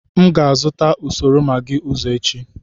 M ga-azụta usoro Maggi ọzọ echi.